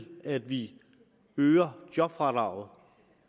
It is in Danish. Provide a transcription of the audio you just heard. at vi øger jobfradraget